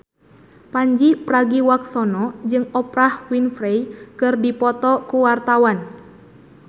Pandji Pragiwaksono jeung Oprah Winfrey keur dipoto ku wartawan